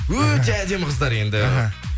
өте әдемі қыздар енді